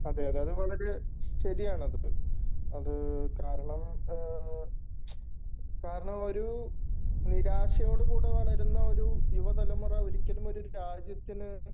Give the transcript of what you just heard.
അതേ, അതെ അത് വളരെ ശരിയാണ്. അത് കാരണംകാരണം ഒരു നിരാശയോടുകൂടെ വളരുന്ന ഒരു യുവതലമുറ ഒരിക്കലും ഒരു രാജ്യത്തിന്